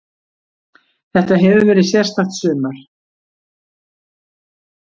Þetta hefur verið sérstakt sumar.